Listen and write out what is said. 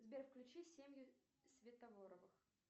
сбер включи семью светофоровых